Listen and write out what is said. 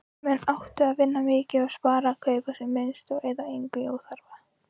Menn áttu að vinna mikið og spara, kaupa sem minnst og eyða engu í óþarfa.